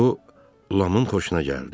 Bu Lamın xoşuna gəldi.